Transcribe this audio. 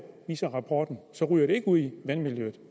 viser rapporten ikke ud i vandmiljøet